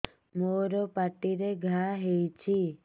ମୋର ପାଟିରେ ଘା ହେଇଚି